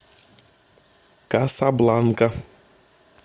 касабланка